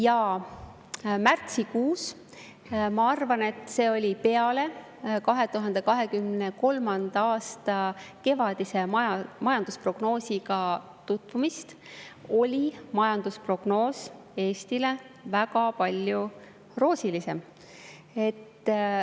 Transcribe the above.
Ja märtsikuus – ma arvan, et see oli peale 2023. aasta kevadise majandusprognoosiga tutvumist – oli majandusprognoos Eestile väga palju roosilisem.